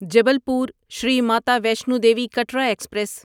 Jabalpur Shri Mata Vaishno Devi Katra express